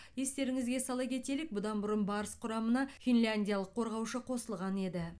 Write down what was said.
естеріңізге сала кетелік бұдан бұрын барыс құрамына финляндиялық қорғаушы қосылған еді